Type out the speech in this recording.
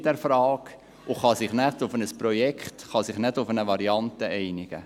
Sie kann sich nicht auf ein Projekt, auf eine Variante einigen.